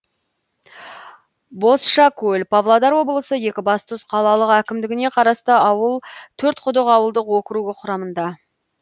бозшакөл павлодар облысы екібастұз қалалық әкімдігіне қарасты ауыл төртқұдық ауылдық округі құрамында